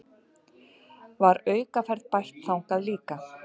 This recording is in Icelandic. Var aukaferð bætt þangað líka